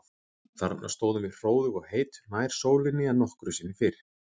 Þarna stóðum við hróðug og heit, nær sólinni en nokkru sinni fyrr.